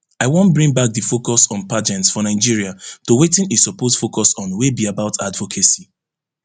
i wan bring back di focus on pageants for nigeria to wetin e suppose focus on wey be about advocacy